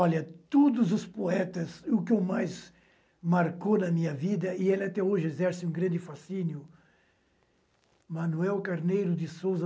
Olha, todos os poetas, o que eu mais marcou na minha vida, e ele até hoje exerce um grande fascínio, Manoel Carneiro de Sousa,